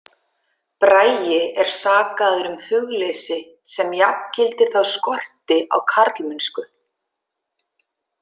Bragi er sakaður um hugleysi sem jafngildir þá skorti á karlmennsku.